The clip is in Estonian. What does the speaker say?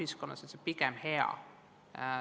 See on pigem hea.